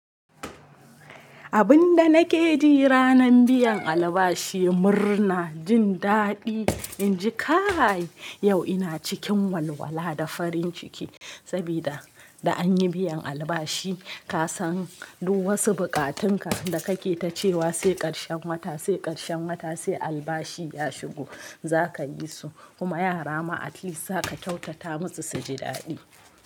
Abin da nake ji ranan biyan albashi murna, jin daɗi. In ji kai yau ina cikin walwala da farin ciki sabida da anyi biyan albashi. Kasan duk wasu bukatunka da kake tacewa sai ƙarshen wata, sai ƙarshen wata, sai albashi ya shigo za ka yi su. Kuma yara ma at least za ka kyautata musu suji daɗi.